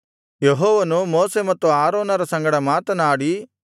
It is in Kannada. ಯೆಹೋವನು ಮೋಶೆ ಮತ್ತು ಆರೋನರ ಸಂಗಡ ಮಾತನಾಡಿ